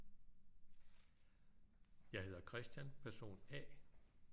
Jeg hedder Christian person A